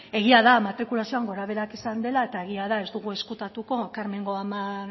egia da matrikulazioan gorabeherak izan dela eta egia da ez dugu ezkutatuko karmengo amak